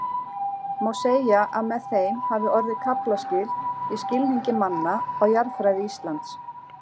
Má segja að með þeim hafi orðið kaflaskil í skilningi manna á jarðfræði Íslands.